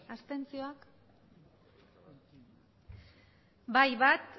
abstentzioak bai bat